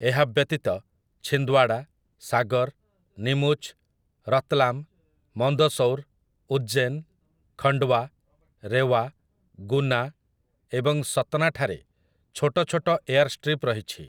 ଏହା ବ୍ୟତୀତ, ଛିନ୍ଦ୍ୱାଡ଼ା, ସାଗର୍, ନୀମୁଚ୍, ରତ୍ଲାମ୍, ମନ୍ଦସୌର୍, ଉଜ୍ଜୈନ୍, ଖଣ୍ଡୱା, ରେୱା, ଗୁନା ଏବଂ ସତ୍ନା ଠାରେ ଛୋଟ ଛୋଟ ଏୟାରଷ୍ଟ୍ରିପ ରହିଛି ।